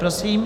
Prosím.